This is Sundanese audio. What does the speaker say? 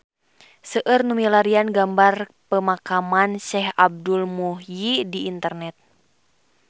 Seueur nu milarian gambar Pemakaman Syekh Abdul Muhyi di internet